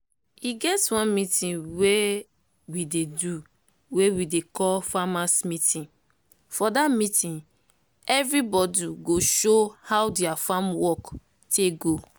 e get one meeting wey we dey do wey we dey call 'farmers meeting'.for dat meeting everybodu go show how dia farm work take go.